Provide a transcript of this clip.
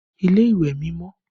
Ilé ìwẹ̀ mi mọ́